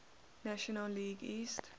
national league east